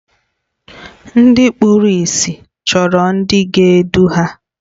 Ndị kpụrụ ịsị chọrọ ndị ga-edu ha.